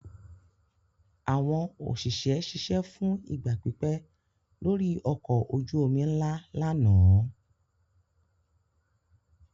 Àwọn òṣìṣẹ́ ṣiṣẹ́ fún ìgbà pípẹ́ lórí ọkọ̀ ojú-omi ńlá lánàá.